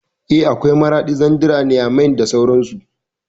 Eh, akwai Maraɗi, Zandar, Nyamai da sauran su